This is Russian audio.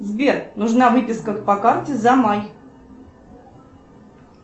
сбер нужна выписка по карте за май